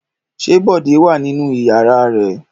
Ṣé Bọ̀dé wà nínú ìyàrá rẹ̀?